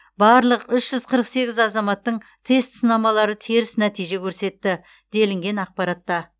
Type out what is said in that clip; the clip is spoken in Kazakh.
барлық үш жүз қырық сегіз азаматтың тест сынамалары теріс нәтиже көрсетті делінген ақпаратта